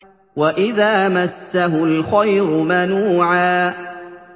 وَإِذَا مَسَّهُ الْخَيْرُ مَنُوعًا